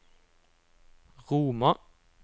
Roma